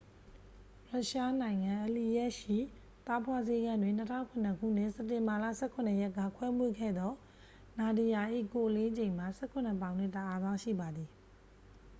ရုရှားနိုင်ငံ အလီယက်စ်ခ် ရှိ သားဖွားဆေးခန်းတွင် 2007 ခုနှစ် စက်တင်ဘာလ 17 ရက်က ခွဲမွေးခဲ့သော နာဒီယာ ၏ကိုယ်အလေးချိန်မှာ 17 ပေါင်နှင့် 1 အောင်စရှိပါသည်